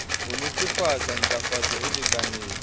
ho netefatsa ntlafatso e lekaneng